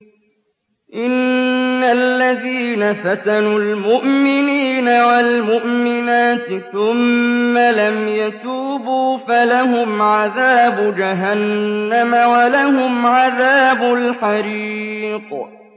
إِنَّ الَّذِينَ فَتَنُوا الْمُؤْمِنِينَ وَالْمُؤْمِنَاتِ ثُمَّ لَمْ يَتُوبُوا فَلَهُمْ عَذَابُ جَهَنَّمَ وَلَهُمْ عَذَابُ الْحَرِيقِ